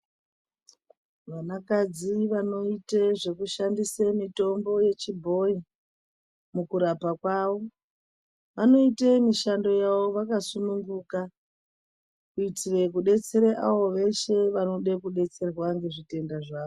Vanakadzi vanoite zvekushandise mitombo yechibhoyi mukurapa kwavo vanoite mishando yavo vakasununguka. Kuitire kudetsera avo veshe vanoda kudetserwa ngezvitenda zvavo.